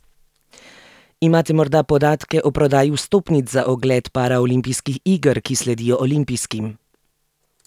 Imate morda podatke o prodaji vstopnic za ogled paraolimpijskih iger, ki sledijo olimpijskim?